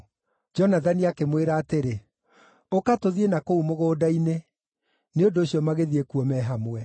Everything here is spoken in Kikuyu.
Jonathani akĩmwĩra atĩrĩ, “Ũka, tũthiĩ na kũu mũgũnda-inĩ.” Nĩ ũndũ ũcio magĩthiĩ kuo me hamwe.